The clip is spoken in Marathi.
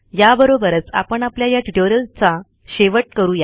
याबरोबरच आपण आपल्या या ट्युटोरियलचा शेवट करु या